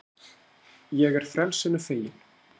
Ég er frelsinu fegin.